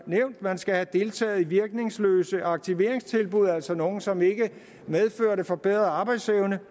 man skal have deltaget i virkningsløse aktiveringstilbud altså nogle som ikke medførte forbedret arbejdsevne